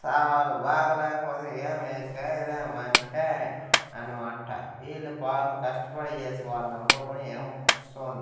సామలు బాగాలేకపోతే ఏమి చేయలేము అంటే అన్నమాట వీళ్లు పాపు కష్టపడి చేసి వాడు నిలబడుకొని ఈయమ్మ కుసోంది.